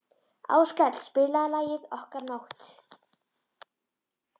Áskell, spilaðu lagið „Okkar nótt“.